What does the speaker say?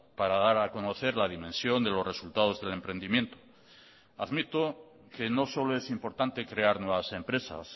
para dar a conocer la dimensión de los resultados del emprendimiento admito que no solo es importante crear nuevas empresas